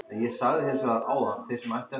Svo er bara að reikna.